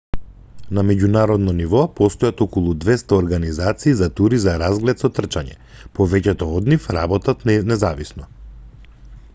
на меѓународно ниво постојат околу 200 организации за тури за разглед со трчање повеќето од нив работат независно